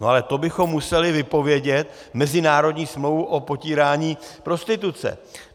No ale to bychom museli vypovědět mezinárodní smlouvu o potírání prostituce.